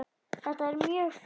Þetta er mjög fínt.